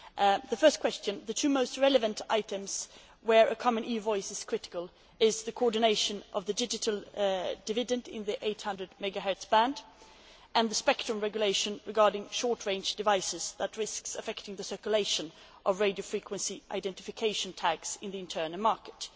With regard to the first question, the two most relevant items where a common EU voice is critical are coordination of the digital dividend in the 800 megahertz band and the spectrum regulation regarding short range devices, which risks affecting the circulation of radio frequency identification tags in the internal market.